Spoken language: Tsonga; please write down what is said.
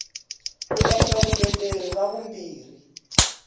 ku endla vuleteri ra vumbirhi